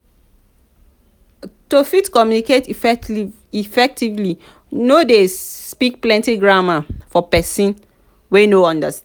to fit communicate effectively no de speak plenty grammar for persin wey no understand